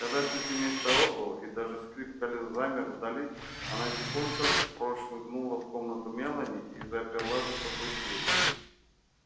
когда всё семейство отбыло и даже скрип колёс замер вдали она тихонько прошмыгнула в комнату мелани и заперла за собой дверь